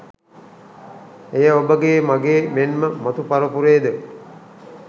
එය ඔබගේ මගේ මෙන්ම මතු පරපුරේද